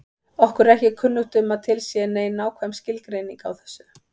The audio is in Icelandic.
Okkur er ekki kunnugt um að til sé nein nákvæm skilgreining á þessu.